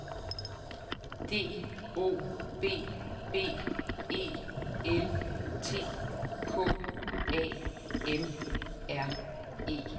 D O B B E L T K A M R E